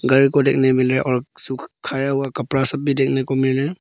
घर को देखने को मिल रहा और सुखाया हुआ कपड़ा देखने को सब मिले--